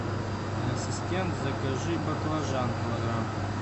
ассистент закажи баклажан килограмм